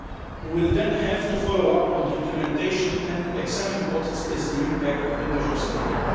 We will then have to follow up on the implementation and examine what is the impact of the measures taken.